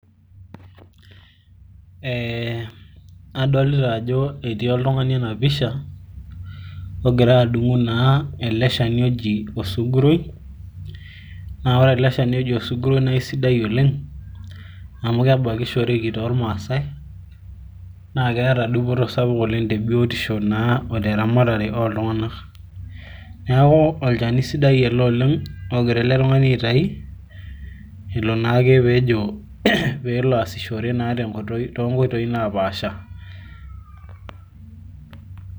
adolita ajo etiioltungani otii ena pisha, ogira adung'u osuguroi, naa ore ele shani oji osuguroi naa keisidai oleng'.amu kebakishoreki toormaasae, naa keeta dupoto sapuk oleng te biotisho, oteramatare ooltunanak, neeku olchani sidai oleng',ogira ele tungani aitayu, ilo naake pee elo aasishore too nkoitoi naapaasha.